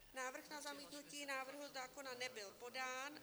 Návrh na zamítnutí návrhu zákona nebyl podán."